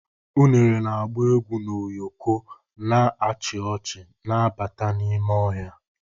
Unere na-agba egwu n'ụyọkọ, na-achị ọchị na-abata n'ime ọhịa.